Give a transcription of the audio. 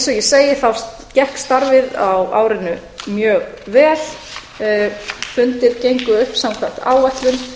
ég segi gekk starfið á árinu mjög vel fundir gengu upp samkvæmt áætlun